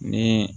Ni